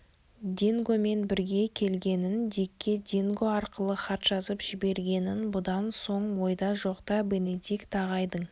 дингомен бірге келгенін дикке динго арқылы хат жазып жібергенін бұдан соң ойда жоқта бенедикт ағайдың